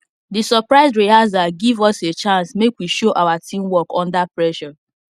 the surprise rehearsal give us a chance make we show our teamwork under pressure